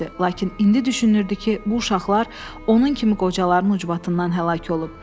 Lakin indi düşünürdü ki, bu uşaqlar onun kimi qocaların ucbatından həlak olub.